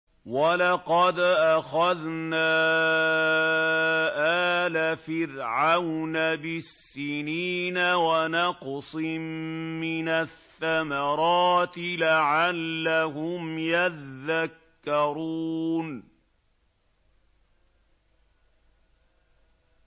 وَلَقَدْ أَخَذْنَا آلَ فِرْعَوْنَ بِالسِّنِينَ وَنَقْصٍ مِّنَ الثَّمَرَاتِ لَعَلَّهُمْ يَذَّكَّرُونَ